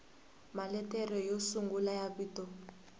maletere yo sungula ya vito